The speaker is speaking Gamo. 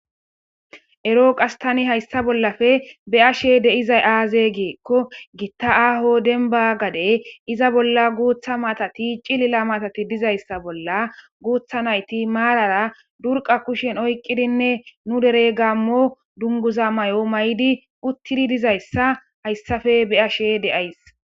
Ero hassi hayssa bollappe beyashe dizay aze gikko gitta aaho dembba gadde iza bolla guuthth maataati cililla maattati dizayssa bolla guuthth nayti marara durqa kushshen oyqidinne nuu dere gamo dere dunguza mayidiuuttidi dizayssa hayssappe beyashe days